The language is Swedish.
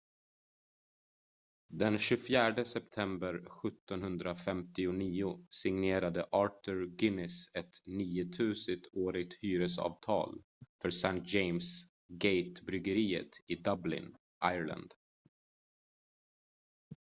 den 24 september 1759 signerade arthur guinness ett 9 000-årigt hyresavtal för st james' gate-bryggeriet i dublin irland